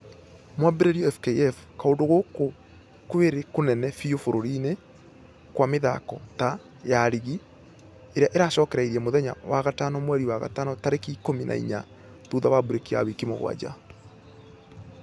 Mwambĩrĩo fkf .....kũndũ gũkũ kwĩrĩ kũnene biũ bũrũri-inĩkwamĩthako ta ....ya rigi ĩrĩa ĩracokereirie mũthenya wa gatano mweri wa gatano tarĩki ikũmi na inya thutha wa breki ya wiki mũgwaja .